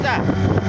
Gözlə.